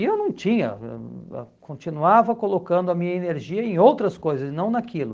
E eu não tinha, eu eu continuava colocando a minha energia em outras coisas e não naquilo.